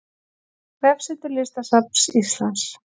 Vefsetur Listasafns Íslands